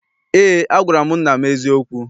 Eé, agwara m nna m eziokwu.